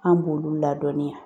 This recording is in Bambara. An b'olu ladɔnniya